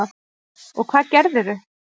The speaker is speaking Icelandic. Og hvað gerðirðu?